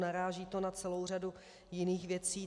Naráží to na celou řadu jiných věcí.